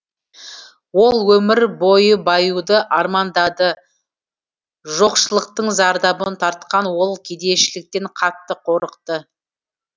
ол өмір бойы баюды армандады жоқшылықтың зардабын тартқан ол кедейшіліктен қатты қорықты